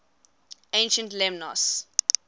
ancient lemnos